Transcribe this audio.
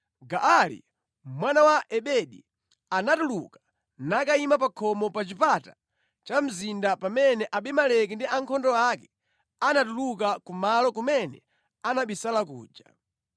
Gaali mwana wa Ebedi anatuluka nakayima pa khomo pa chipata cha mzinda pamene Abimeleki ndi ankhondo ake anatuluka ku malo kumene anabisala kuja.